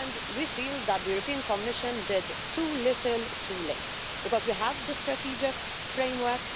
We feel that the European Commission did too little too late, because we have the strategic framework.